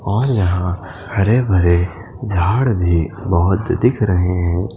और यहां हरे भरे झाड़ भी बहुत दिख रहे हैं।